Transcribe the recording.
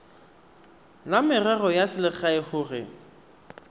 la merero ya selegae gore